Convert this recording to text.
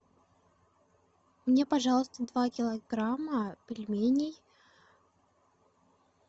мне пожалуйста два килограмма пельменей